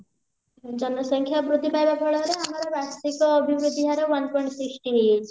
ଜନସଂଖ୍ୟା ବୃଦ୍ଧି ପାଇବା ଫଳରେ ଆମର ବାର୍ଷିକ ଅଭିବୃଦ୍ଧି ହାର one point sixty ହେଇଯାଇଛି